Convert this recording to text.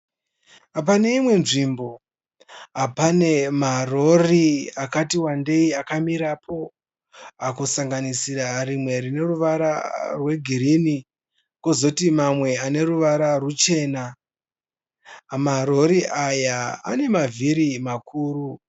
Paneimwe nzvimbo pane marori akatiwandei akamirapo kusanganisira rimwe rineruvara rwegirini kozoti mamwe aneruvara ruchena. Marori aya anemavhiri makuru.